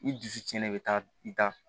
I dusu cɛnnen i be taa i taa